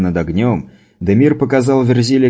над огнём дамир показал верзиле